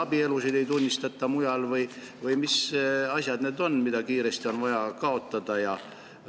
Kas meie abielusid ei tunnistata mujal või mis asjad need on, mis kiiresti on vaja kaotada?